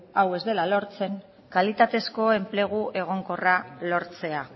hau ez dela lortzen kalitatezko enplegu egonkorra lortzea